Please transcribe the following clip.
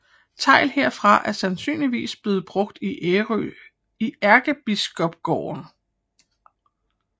Tegl herfra er sandsynligvis blevet brugt i Ærkebispegården